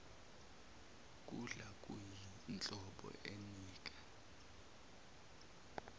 kudla kuyinhlobo enika